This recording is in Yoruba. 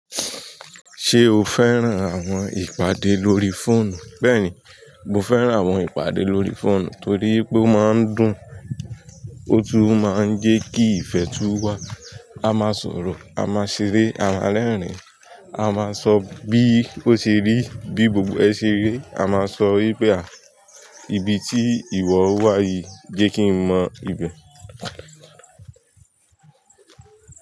Ṣé o fẹ́ràn àwọn ìpàdé lórí fóònù? Bẹ́ẹ̀ni, mo fẹ́ràn àwọn ìpàdé lórí fóònù torí pé ó máa ń dùn, ó tún máa ń jẹ́ kí ìfẹ́ tún wá. A máa sọ̀rọ̀, a máa ṣeré, a máa rẹ́rìn-ín, a máa sọ bí ó ṣe rí, bí gbogbo ẹ ṣe rí. A máa sọ wípé, ibi tí ìwọ wà yìí, jẹ́ kí n mọ ibẹ̀.